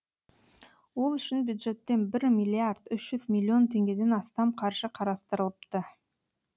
ол үшін бюджеттен бір миллиард үш жүз миллион теңгеден астам қаржы қарастырылыпты